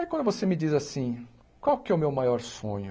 Aí quando você me diz assim, qual é que é o meu maior sonho?